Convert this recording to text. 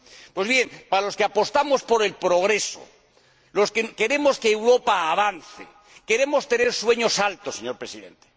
Pues bien, para los que apostamos por el progreso, los que queremos que Europa avance, queremos tener sueños elevados, señor Presidente.